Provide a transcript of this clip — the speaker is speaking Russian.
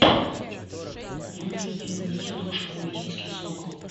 выведи мне киношку мальтийский сокол